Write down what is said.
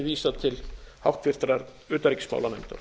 vísað til háttvirtrar utanríkismálanefndar